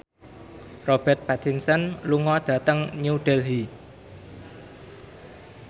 Robert Pattinson lunga dhateng New Delhi